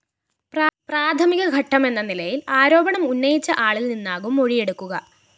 പ്രാഥമിക ഘട്ടമെന്ന നിലയില്‍ ആരോപണം ഉന്നയിച്ച ആളില്‍നിന്നാകും മൊഴിയെടുക്കുക